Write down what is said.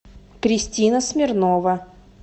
кристина смирнова